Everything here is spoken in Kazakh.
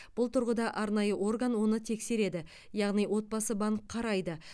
бұл тұрғыда арнайы орган оны тексереді яғни отбасы банк қарайды